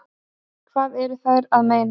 Hvað eru þær að meina?